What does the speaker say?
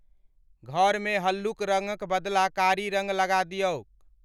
घर मे हल्लुक रंगक बदला कारी रंग लगा दियौक।